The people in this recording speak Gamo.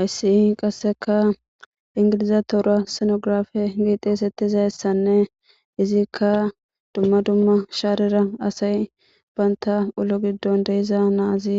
ayssi qasseka ingiliza toura senografe giixees ettizayessanne izikka dumma dumma shaarira asay baynta ulo giddon deyiza naazi